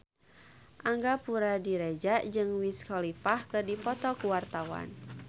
Angga Puradiredja jeung Wiz Khalifa keur dipoto ku wartawan